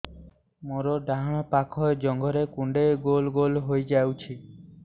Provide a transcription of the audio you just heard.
ମୋର ଡାହାଣ ପାଖ ଜଙ୍ଘରେ କୁଣ୍ଡେଇ ଗୋଲ ଗୋଲ ହେଇଯାଉଛି